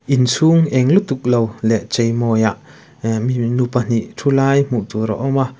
inchhung eng lutuk lo leh chei mawi ah nu pahnih thu lai hmuh tur a awm a.